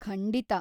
ಖಂಡಿತಾ.